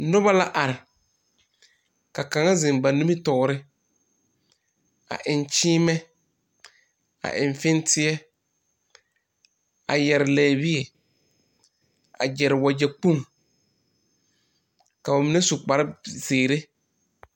Noba la are ka kaŋa zeŋ ba nimitɔɔre a eŋ kyeemɛ a eŋ fenteɛ a yɛre lɛbie a gyere wagyɛkpoŋ ka ba mine su kparzeere.